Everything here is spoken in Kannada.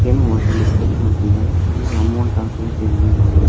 ಎನೋ ಮತಾಡಿ ಡಿಸ್ಕಸ್ ಮಾಡ್ತಿದ್ದಾರೆ ಇಲ್ಲಿ ಅಮೌಂಟ್ ಹಾಕ್ಬಹುದು ತಗೀಬಹುದು.